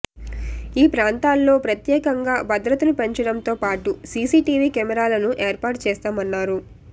ఈ ప్రాంతాల్లో ప్రత్యేకంగా భద్రతను పెంచడంతో పాటు సీసీటీవీ కెమెరాలను ఏర్పాటు చేస్తామన్నారు